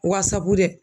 Wasabudɛ